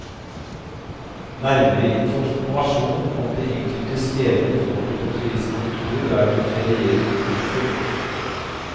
Nærmere informasjon om de enkelte stedene får du på turistkontoret der du ferierer. punktum